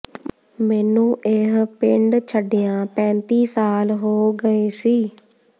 ਮੈਨੂੰ ਇਹ ਪਿੰਡ ਛੱਡਿਆਂ ਪੈਂਤੀ ਸਾਲ ਹੋ ਗਏ ਸੀ